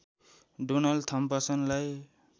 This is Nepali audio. डोनाल्ड थम्पसनलाई